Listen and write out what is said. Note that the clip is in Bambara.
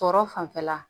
Tɔɔrɔ fanfɛla